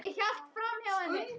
Ég hélt framhjá henni.